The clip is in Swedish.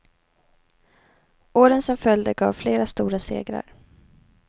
Åren som följde gav flera stora segrar.